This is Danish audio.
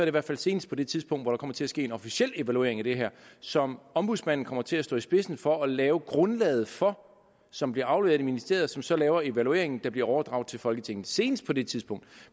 i hvert fald senest på det tidspunkt at der kommer til at ske en officiel evaluering af det her som ombudsmanden kommer til at stå i spidsen for at lave grundlaget for som bliver afleveret i ministeriet som så laver evalueringen der bliver overdraget til folketinget senest på det tidspunkt